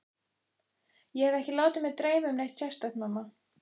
Ég hef ekki látið mig dreyma um neitt sérstakt, mamma.